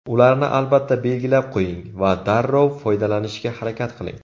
Ularni albatta belgilab qo‘ying va darrov foydalanishga harakat qiling.